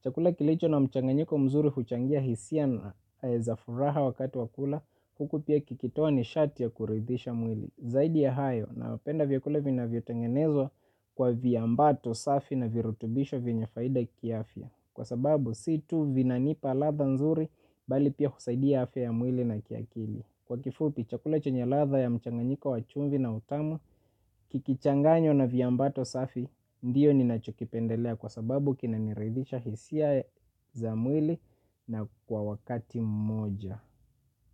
Chakula kilicho na mchanganyiko mzuri huchangia hisia na za furaha wakati wa kula huku pia kikitoa ni shati ya kuridhisha mwili. Zaidi ya hayo nawapenda vyakula vinavyo tengenezwa kwa viambato safi na virutubisho vina faida kiafya. Kwa sababu si tu vinanipa ladha nzuri bali pia husaidia afya ya mwili na kiakili. Kwa kifupi chakula chenye ladha ya mchanganyika wa chumvi na utamu. Kikichanganywa na viambato safi ndiyo ninachokipendelea kwa sababu kinaniridhisha hisia za mwili na kwa wakati moja.